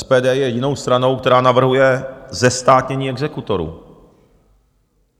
SPD je jedinou stranou, která navrhuje zestátnění exekutorů.